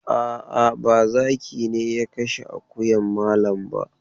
A'a, ba zaki ne ya kashe akuyan malam ba.